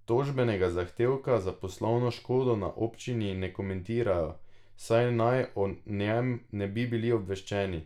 Tožbenega zahtevka za poslovno škodo na občini ne komentirajo, saj naj o njem ne bi bili obveščeni.